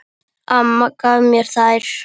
Amma gaf mér þær.